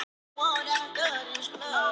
Smokkfiskur af tegundinni